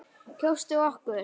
Kjóstu okkur.